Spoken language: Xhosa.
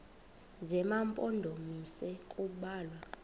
zema mpondomise kubalwa